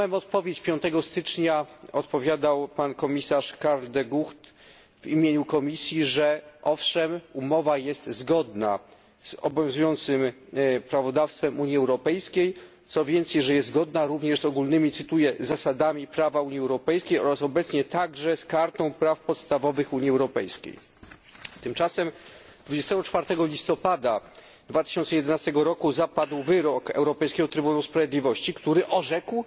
Dnia 5 stycznia otrzymałem odpowiedź od pana komisarza Karla De Guchta w imieniu Komisji, że owszem, umowa jest zgodna z obowiązującym prawodawstwem Unii Europejskiej, co więcej, że jest zgodna również z ogólnymi, cytuję, zasadami prawa Unii Europejskiej oraz obecnie także z Kartą praw podstawowych Unii Europejskiej. Tymczasem dnia 24 listopada 2011 roku zapadł wyrok Europejskiego Trybunału Sprawiedliwości, który orzekł,